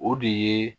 O de ye